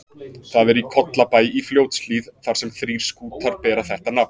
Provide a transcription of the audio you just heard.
Það er í Kollabæ í Fljótshlíð, þar sem þrír skútar bera þetta nafn.